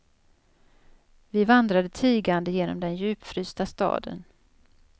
Vi vandrade tigande genom den djupfrysta staden.